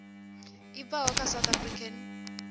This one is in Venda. i bvaho kha south african